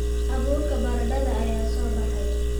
Abuurka baradhada ayaa soo baxay